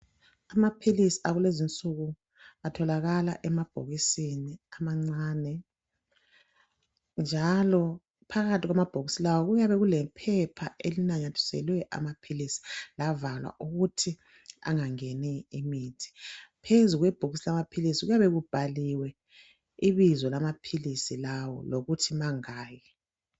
Amaphilisi akulezi nsuku atholakala emabhokisini amancane njalo phakathi lawa kuyabe kulephepha elinamathisiweyo amaphilisi lavalwa